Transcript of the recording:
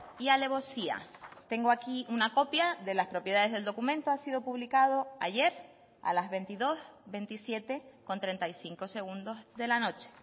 y alevosía tengo aquí una copia de las propiedades del documento ha sido publicado ayer a las veintidós veintisiete con treinta y cinco segundos de la noche